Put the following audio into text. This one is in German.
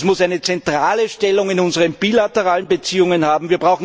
Dies muss eine zentrale Stellung in unseren bilateralen Beziehungen haben.